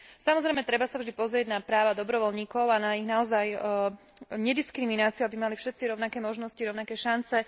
Samozrejme, treba sa vždy pozrieť na práva dobrovoľníkov a na ich naozaj nediskrimináciu, aby mali všetci rovnaké možnosti, rovnaké šance.